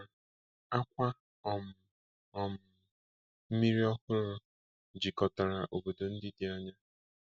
N'Anambra, àkwà um um mmiri ọhụrụ jikọtara obodo ndị dị anya.